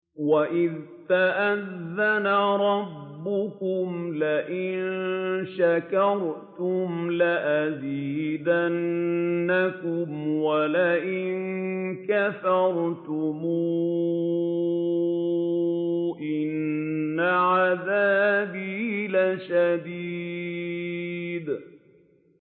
وَإِذْ تَأَذَّنَ رَبُّكُمْ لَئِن شَكَرْتُمْ لَأَزِيدَنَّكُمْ ۖ وَلَئِن كَفَرْتُمْ إِنَّ عَذَابِي لَشَدِيدٌ